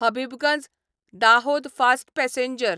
Habibganj Dahod fast passenger